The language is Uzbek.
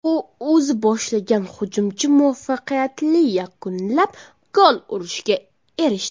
U o‘zi boshlagan hujumchi muvaffaqiyatli yakunlab, gol urishga erishdi.